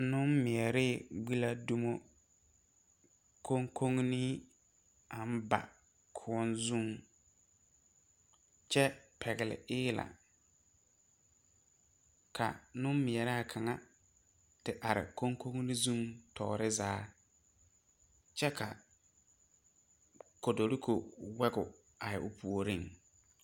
Nen mɛree gbi la dumo konkonne aŋ ba koɔ koɔ zuŋ, kyɛ pɛgeli eelɛ ka nenmɛraa kaŋa te are konkonne zuŋ tɔre zaa kyɛ ka togorigo wogi te are o puoriŋ.